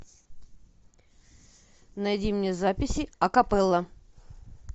найди мне записи акапелла